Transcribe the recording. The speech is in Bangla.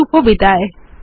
শুভবিদায়